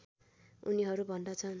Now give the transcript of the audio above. उनीहरू भन्दछन्